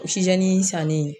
sanni